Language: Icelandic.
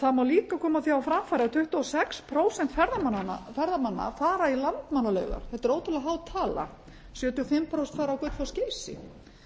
það má líka koma því á framfæri að tuttugu og sex prósent ferðamanna fara í landmannalaugar þetta er ótrúlega há tala sjötíu og fimm prósent fara á gullfoss og geysi þannig